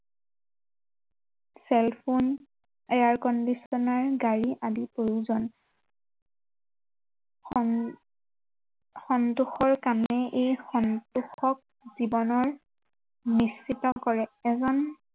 Cell phone, air conditioner গাড়ী আদি প্ৰয়োজন সন, সন্তোষৰ কাৰণে এই সন্তোষক জীৱনৰ নিশ্চিত কৰে এজন